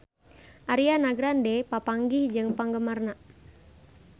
Ariana Grande papanggih jeung penggemarna